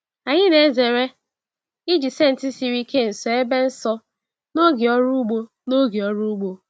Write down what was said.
Anyị na-ezere iji senti siri ike nso ebe nsọ n'oge ọrụ ugbo. n'oge ọrụ ugbo.